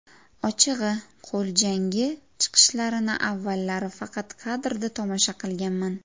Ochig‘I, qo‘l jangi chiqishlarini avvallari faqat kadrda tomosha qilganman.